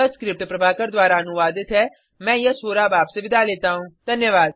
यह स्क्रिप्ट प्रभाकर द्वारा अनुवादित है मैं यश वोरा अब आपसे विदा लेता हूँ